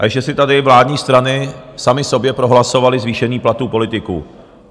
A ještě si tady vládní strany samy sobě prohlasovaly zvýšení platů politiků.